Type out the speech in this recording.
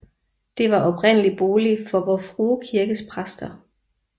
Det var oprindeligt bolig for Vor Frue Kirkes præster